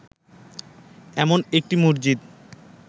এমন একটি মসজিদ